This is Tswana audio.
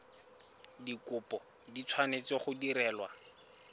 dikopo di tshwanetse go direlwa